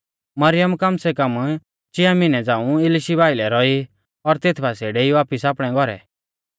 मरियम कम सै कम चिया मिहनै झ़ांऊ इलिशीबा आइलै रौई और तेथ बासिऐ डेई वापिस आपणै घौरै